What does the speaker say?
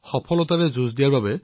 সফলতাৰে যুঁজি অহাৰ বাবে